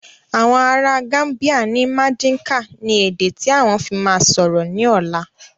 Àwọn ará Gambia ni madinka ni èdè tí àwọn fi máa sọ̀rọ̀ ni ọ̀la